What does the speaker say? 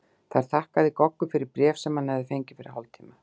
Þar þakkaði Goggur fyrir bréf sem hann hafði fengið fyrir hálftíma.